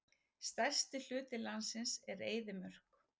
Stærsti hluti landsins er eyðimörk.